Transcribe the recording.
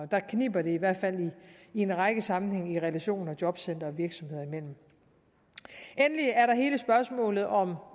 der kniber det i hvert fald i en række sammenhænge med relationen mellem jobcentre og virksomheder endelig er der hele spørgsmålet om